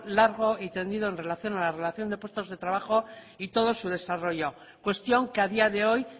largo y tendido en relación a la relación de puestos de trabajo y todo su desarrollo cuestión que a día de hoy